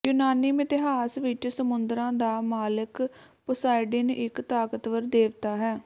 ਯੂਨਾਨੀ ਮਿਥਿਹਾਸ ਵਿਚ ਸਮੁੰਦਰਾਂ ਦਾ ਮਾਲਕ ਪੋਸਾਇਡਨ ਇਕ ਤਾਕਤਵਰ ਦੇਵਤਾ ਹੈ